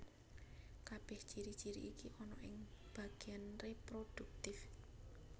Kabèh ciri ciri iki ana ing bagéan reproduktif